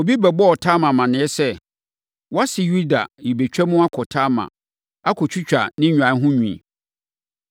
Obi bɛbɔɔ Tamar amaneɛ sɛ, “Wʼase Yuda rebɛtwam akɔ Timna akɔtwitwa ne nnwan ho nwi.”